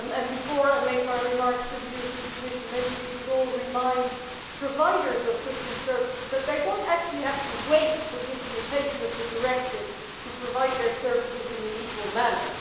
Before I make my remarks to the European Commission, maybe we could all remind providers of goods and services that they do not actually have to wait for the implementation of the directive to provide their services in an equal manner.